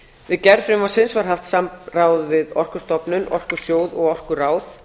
við gerð frumvarpsins var haft samráð við orkustofnun orkusjóð og orkuráð